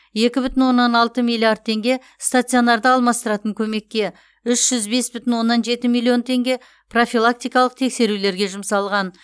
екі бүтін оннан алты миллиард теңге стационарды алмастыратын көмекке үш жүз бес бүтін оннан жеті миллион теңге профилактикалық тексерулерге жұмсалған